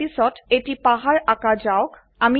ইয়াৰ পিছত এটি পাহাড় আঁকা যাওক